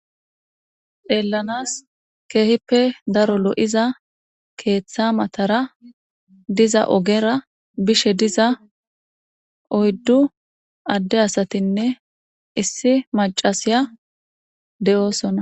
xeellanas keehippe daro lo7iza keeththa matara diza ogera bishe diza oyddu adde asatinne issi macasiya de7oosona